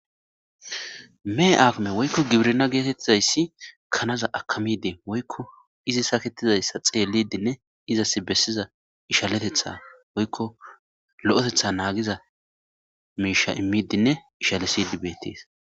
Me agame woykko gibirna geetettizayssi kanaza akamide woykko izi sakettizayssa xeelidinne izas bessiza ishaletetha woykko lo7etetha naagiza miisha immidinne ishalesidi beetees.